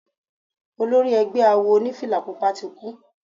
Olori egbẹ́ awo onífìlà Pupa ti kú.